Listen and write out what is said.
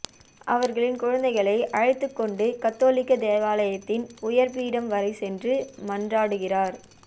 அவர்களின் குழந்தைகளை அழைத்துக்கொண்டு கத்தோலிக்க தேவாலயத்தின் உயர்பீடம் வரைச் சென்று மன்றாடுகிறார்